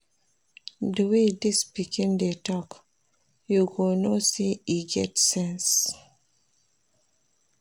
Di way dis pikin dey talk, you go know sey e get sense.